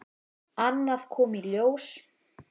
Annað kom í ljós.